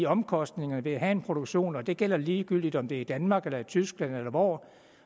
omkostningerne ved at have en produktion og det gælder ligegyldigt om det er i danmark eller i tyskland eller hvor